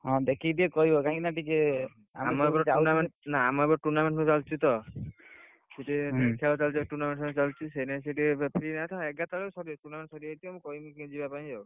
ହଁ, ଦେଖିକି ଟିକେ କହିବ କାହିଁକି ନା ଟିକେ, ନା ଆମର ଏପଟରେ tournament ସବୁ ଚାଲିଛି ତ ଏଗାର ତାରିଖ ରେ ସାରିଯାଇଥିବ tournament ସାରିଯାଇଥିବ କହିବି କିଏ ଯିବା ପାଇଁ ଆଉ।